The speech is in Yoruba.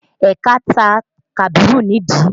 Ẹ̀ka ta Kabiru nídìí